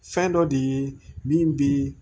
Fɛn dɔ de ye min bi